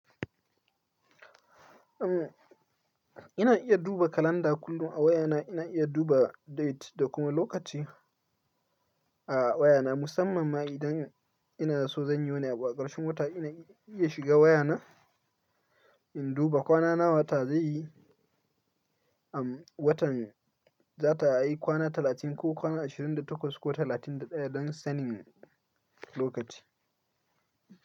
Um, ina iya duba kalanda kullum a wayana. Ina iya duba date da kuma lokaci a wayana. Musamman ma idan ina da so zan yi wani abu a ƙarshen wata, ina iya shiga wayana, in duba kwana nawa wata zai yi, um, watan za ta yi kwana talatin ko kwana ashirin da takwas ko talatin da ɗaya don sanin lokaci.